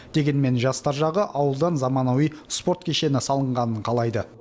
дегенмен жастар жағы ауылдан заманауи спорт кешені салынғанын қалайды